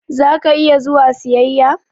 Za ka iya zuwa siyaƴa?